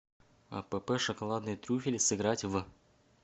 апп шоколадные трюфели сыграть в